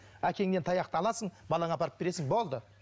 әкеңнен таяқты аласың балаңа апарып бересің болды